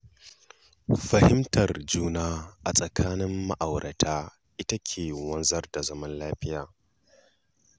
Fahimtar juna a tsakanin ma'aurata ita take wanzar da zaman lafiya.